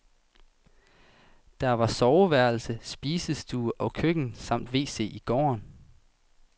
Der var soveværelse, spisestue og køkken samt wc i gården.